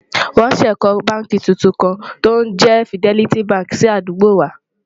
wón sé kò bánkì túntùn kàn tí òun jé fideliti bánkì sí àdúgbò wà